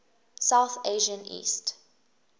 south asian east